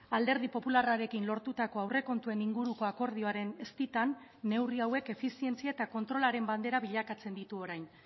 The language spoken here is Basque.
alderdi popularrarekin lortutako aurrekontuen inguruko akordioaren eztitan neurri hauek efizientzia eta kontrolaren bandera bilakatzen ditu orain